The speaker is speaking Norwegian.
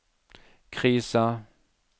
krisa